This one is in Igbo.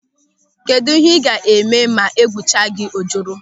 Kedụ ihe ị ga-eme ma egwucha gị ojoro?